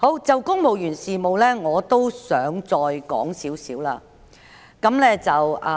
就公務員事務方面，我亦想提出一些觀點。